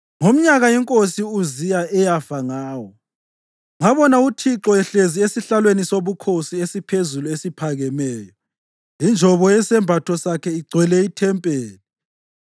Ngomnyaka inkosi u-Uziya eyafa ngawo, ngabona uThixo ehlezi esihlalweni sobukhosi esiphezulu esiphakemeyo, injobo yesembatho sakhe igcwele ithempeli.